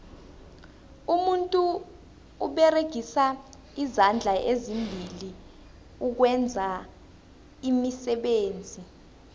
umuntu uberegisa izandla ezimbili ukwenza iimisebenzi